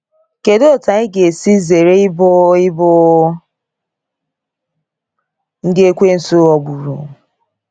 Kedụ etù anyị ga esi zere ịbụ ịbụ ndị Ekwensu ghọgburu?